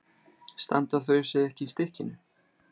Standa þau ekki í stykkinu?